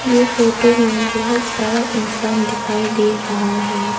ये फोटो में बहोत सारा इंसान दिखाई दे रहा है।